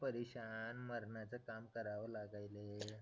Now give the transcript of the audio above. परेशान मरणाचं काम कराव लागलेय